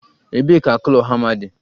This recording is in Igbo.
Ebee ka claw hama dị?